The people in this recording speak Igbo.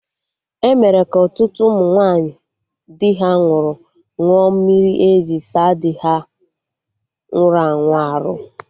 Emere ka ọtụtụ ụmụ nwaanyị di ha nwụrụ ṅụọ mmiri eji saa dị ha nwụrụ anwụ arụ